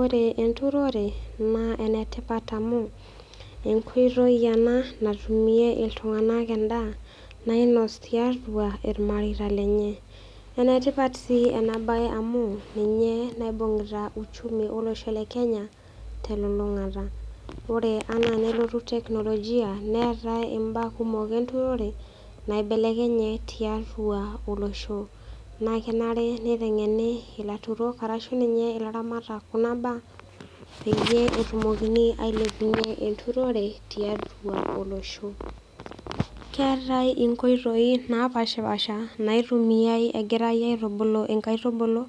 Ore enturore naa enetipat amu enkoitoi ena natumie iltung'anak endaa nainos tiatua ilmareita lenye. Enetipat sii enabaye amu ninye naibung'ita uchumi olosho le Kenya telulung'ata. Ore anaa nelotu teknolojia neetai imbaa kumok enturore naibelekenye tiatua olosho. Naakenare neiteng'eni ilaturok arashu ninye ilaramatak kuna baa peyie etumokini ailepunye enturore tiatua olosho. Keetai inkoitoi napashpaasha naitumiai egirai aitubulu inkaitubulu